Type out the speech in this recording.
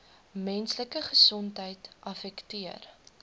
menslike gesondheid affekteer